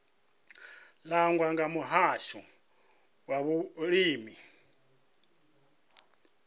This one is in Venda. langwa nga muhasho wa vhulimi